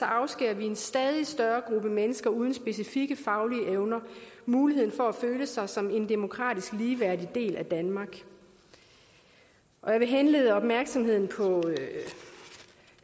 afskærer vi en stadig større gruppe mennesker uden specifikke faglige evner muligheden for at føle sig som en demokratisk ligeværdig del af danmark jeg vil henlede opmærksomheden på